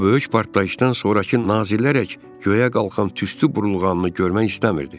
O böyük partlayışdan sonrakı nazilərək göyə qalxan tüstü burulğanını görmək istəmirdi.